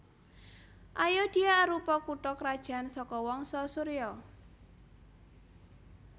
Ayodhya arupa kutha krajan saka wangsa Surya